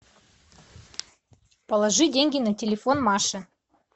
положи деньги на телефон маши